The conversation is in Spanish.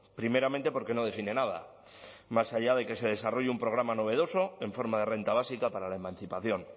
primeramente porque no define nada más allá de que se desarrolle un programa novedoso en forma de renta básica para la emancipación